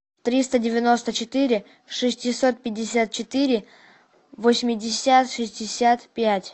триста девяносто четыре шестьсот пятьдесят четыре восемьдесят шестьдесят пять